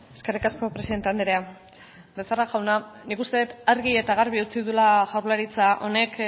eskerrik asko presidente andrea becerra jauna nik uste dut argi eta garbi utzi duela jaurlaritza honek